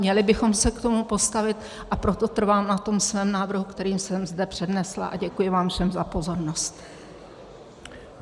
Měli bychom se k tomu postavit, a proto trvám na tom svém návrhu, který jsem zde přednesla, a děkuji vám všem za pozornost.